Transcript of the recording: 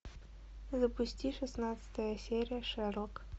запусти шестнадцатая серия шерлок